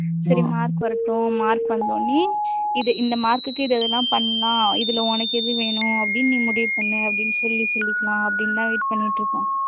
சரி mark வரட்டும் mark வந்தோன்னையும் இது இந்த mark க்கு இது இதெல்லாம் பண்ணலாம் இதுல உனக்கு எது வேணும் அப்படின்னு நீ முடிவு பண்ணு அப்படின்னு சொல்லி சொல்லிக்கலாம் அப்படின்னு தான் பண்ணிட்டு இருக்கோம்